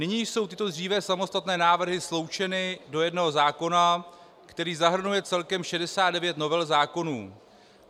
Nyní jsou tyto dříve samostatné návrhy sloučeny do jednoho zákona, který zahrnuje celkem 69 novel zákonů.